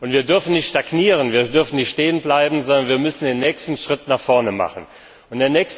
Wir dürfen nicht stagnieren, wir dürfen nicht stehenbleiben, sondern wir müssen den nächsten Schritt vorwärts tun.